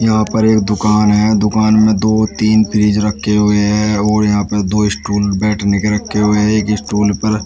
यहां पर एक दुकान है दुकान में दो तीन फ्रिज रखें हुए हैं और यहां पर दो स्टूल बैठने के रखे हुए हैं एक स्टूल पर--